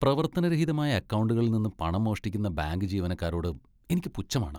പ്രവർത്തനരഹിതമായ അക്കൗണ്ടുകളിൽ നിന്ന് പണം മോഷ്ടിക്കുന്ന ബാങ്ക് ജീവനക്കാരോട് എനിക്ക് പുച്ഛമാണ്.